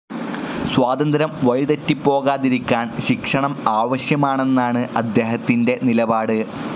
സ്വാതന്ത്ര്യം വഴിതെറ്റിപ്പോകാതിരിക്കാൻ ശിക്ഷണം ആവശ്യമാണെന്നാണ്‌ അദ്ദേഹത്തിന്റെ നിലപാട്.